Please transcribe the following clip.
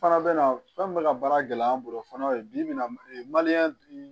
Fana bɛ na fɛn min bɛ ka baara gɛlɛya an bolo fana bi-bi in na